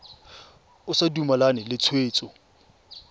o sa dumalane le tshwetso